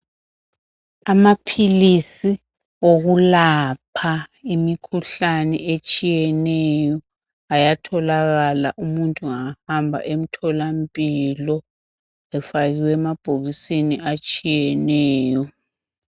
Amaphilisi wokulapha imikhuhlane etshiyeneyo ayatholakala umuntu engahamba emtholampilo efakiwe emabhokisini atshiyeneyo.